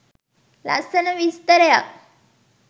ලස්සන විස්තරයක්